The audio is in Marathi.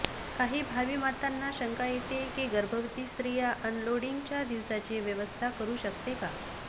काही भावी मातांना शंका येते की गर्भवती स्त्रिया अनलोडिंगच्या दिवसाची व्यवस्था करू शकते का